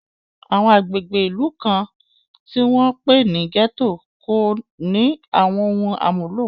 Àwọn agbègbè ìlú kan, tí wọ́n ń pè ní gẹ́tò, kò ní àwọn ohun àmúlò